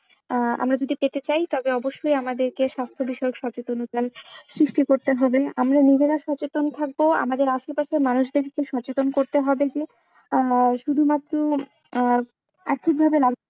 আহ আমরা যদি পেতে চাই তাহলে অবশ্যই আমাদের কে স্বাস্থ্য বিষয়ে সচেতন হতে হবে করতে হবে আমরা নিজেরা সচেতন থাকবো আমাদের আশেপাশে মানুষদের সচেতন করতে হবে আহ শুধুমাত্র আহ